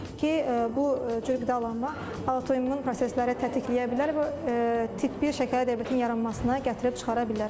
ki bu cür qidalanma autoimmün prosesləri tətikləyə bilər və tip bir şəkərli diabetin yaranmasına gətirib çıxara bilər.